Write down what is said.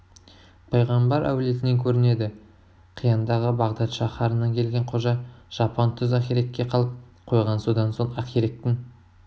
пайғамбар әулетінен көрінеді қияндағы бағдат шаһарынан келген қожа жапан түз ақиректе қалып қойған содан соң ақиректің